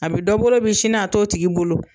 A bɛ dɔ bolo bi sini a t'o tigi bolo.